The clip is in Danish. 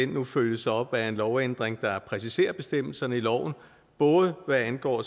nu følges op af en lovændring der præciserer bestemmelserne i loven både hvad angår